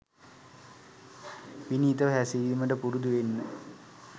විනීතව හැසිරීමට පුරුදුවෙන්න